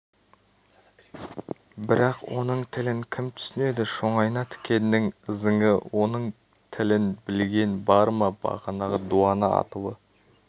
бірақ оның тілін кім түсінеді шоңайна тікеннің ызыңы оның тілін білген бар ма бағанағы дуана аттылы